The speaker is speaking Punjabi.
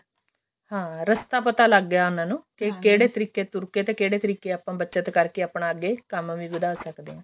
ਹਾਂ ਰਸਤਾ ਪਤਾ ਲੱਗ ਗਿਆ ਉਹਨਾਂ ਨੂੰ ਕੇ ਕਿਹੜੇ ਤਰੀਕੇ ਤੁਰ ਕੇ ਕਿਹੜੇ ਤਰੀਕੇ ਆਪਾਂ ਬੱਚਤ ਕਰਕੇ ਆਪਣਾ ਅੱਗੇ ਕੰਮ ਵੀ ਵਧਾ ਸਕਦੇ ਹਾਂ